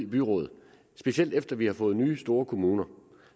byråd specielt efter at vi har fået nye store kommuner